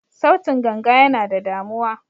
Sautin ganga yana da damuwa.